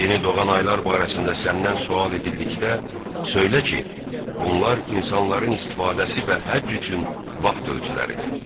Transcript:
Yeni doğan aylar barəsində səndən sual edildikdə söylə ki, bunlar insanların istifadəsi və həcc üçün vaxt ölçüləridir.